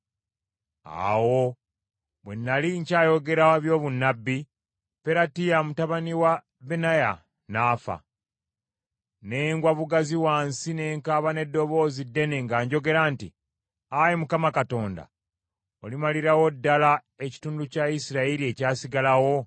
Awo bwe nnali nkyayogera ebyobunnabbi, Peratiya mutabani wa Benaya n’afa. Ne ngwa bugazi wansi ne nkaaba n’eddoboozi ddene, nga njogera nti, “Ayi Mukama Katonda, olimalirawo ddala ekitundu kya Isirayiri ekyasigalawo?”